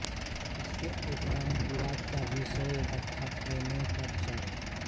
इसके उपरांत विवाद का विषय अर्थात् प्रमेय का विचार हुआ है